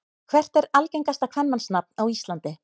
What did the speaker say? Hvert er algengasta kvenmannsnafn á Íslandi?